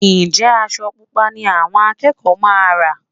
Ǹjẹ́ aṣọ Pupa ni àwọn akẹ́kọ̀ọ́ máa rán?